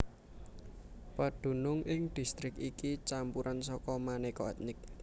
Pedunung ing distrik iki campuran saka manéka ètnik